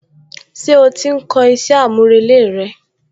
Ṣé ó ti ń kọ iṣẹ́ àmúrelé rẹ?